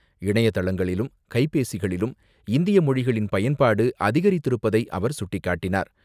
இணையதளங்களிலும், கைபேசிகளிலும் இந்திய மொழிகளின் பயன்பாடு அதிகரித்திருப்பதை அவர் சுட்டிக்காட்டினார்.